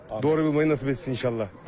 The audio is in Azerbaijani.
Doğru bilməyi nəsib etsin inşallah.